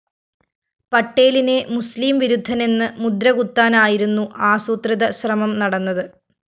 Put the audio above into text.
പട്ടേലിനെ മുസ്ലിം വിരുദ്ധനെന്ന് മുദ്രകുത്താനായിരുന്നു ആസൂത്രിത ശ്രമം നടന്നത്